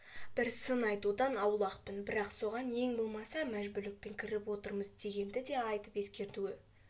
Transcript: бір сын айтудан аулақпын бірақ соған ең болмаса мәжбүлікпен кіріп отырмыз дегенді де айтып ескертуі